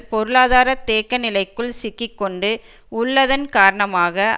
பொருளாதார தேக்க நிலைக்குள் சிக்கி கொண்டு உள்ளதன் காரணமாக